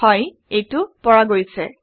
হয় এইটো পৰা গৈছে